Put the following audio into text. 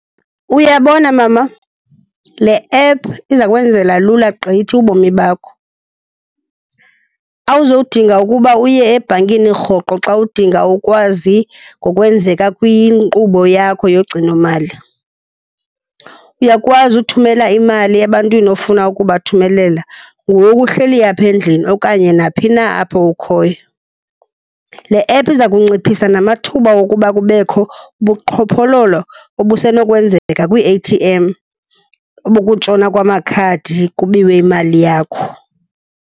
Uyabona mama, le app iza kwenzela lula gqithi ubomi bakho. Awuzodinga ukuba uye ebhankini rhoqo xa udinga ukwazi ngokwenzeka kwinkqubo yakho yogcinomali. Uyakwazi uthumela imali ebantwini ofuna ukubathumelela ngoku uhleli apha endlini okanye naphi na apho ukhoyo. Le app iza kunciphisa namathuba wokuba kubekho ubuqhophololo obusenokwenzeka kwii-A_T_M bokutshona kwamakhadi kubiwe imali yakho.